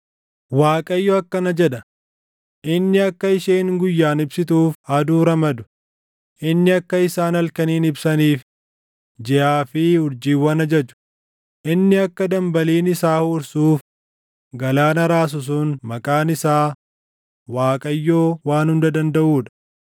Waaqayyo akkana jedha; inni akka isheen guyyaan ibsituuf aduu ramadu, inni akka isaan halkaniin ibsaniif, jiʼaa fi urjiiwwan ajaju, inni akka dambaliin isaa huursuuf galaana raasu sun maqaan isaa Waaqayyoo Waan Hunda Dandaʼuu dha: